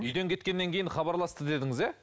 үйден кеткеннен кейін хабарласты дедіңіз иә